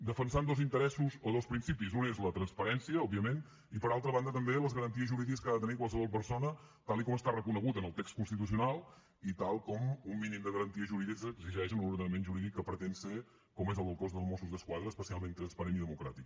defensant dos interessos o dos principis un és la transparència òbviament i per altra banda també les garanties jurídiques que ha de tenir qualsevol persona tal com està reconegut en el text constitucional i tal com un mínim de garanties jurídiques exigeix en l’ordenament jurídic que pretén ser com és el del cos del mossos d’esquadra especialment transparent i democràtic